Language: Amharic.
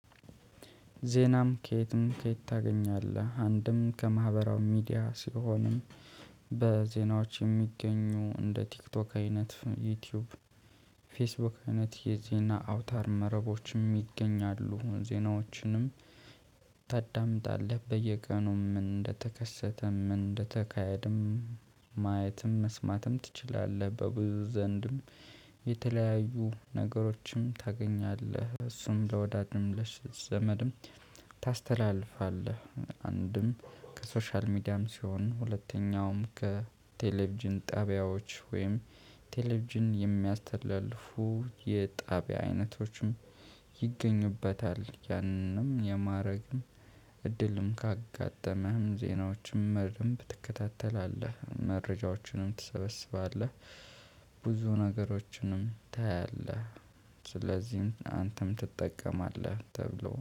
ዜናም ከየትም ከየት ታገኛለህ አንድም ከማህበራዊ ሚዲያ ሲሆን በዜናዎች የሚገኙ እንደ ቲክቶክ አይነት ዩቲዩብ ፌስቡክ አይነት የዜና አውታር መረቦችም ይገኛሉ። ዜናዎችንም ታዳምጣለህ በየቀኑም ምን እንደተከሰተም ምን እንደተካሄድም ማየትም መስማትም ትችላለህ። በብዙ ዘንድም የተለያዩ ነገሮችም ታገኛለህ እሱም ለወዳጂም ለዘመድም ታስተላልፋለህ። አንድም ከሶሻል ሚዲያም ሲሆን ሁለተኛውም ከቴሌቭዢን ጣቢያዎች ወይም ቴሌቪዥን የሚያስተላልፉ የጣቢያ አይነቶችም ይገኙበታል። ያንንም የማድረግም እድልም ካጋጠመህ ዜናዎችም ማለትም ትከታተላለህ መረጃዎችንም ትሰበስባለህ። ብዙ ነገሮችንም ታያለህ። ስለዚህም አንተም ትጠቀማለህ ተብሎ